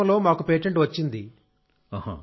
ఈ సంవత్సరంలో మాకు పేటెంట్ వచ్చింది